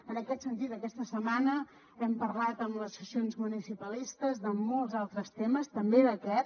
en aquest sentit aquesta setmana hem parlat amb les associacions municipalistes de molts altres temes també d’aquest